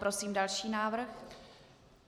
Prosím další návrh.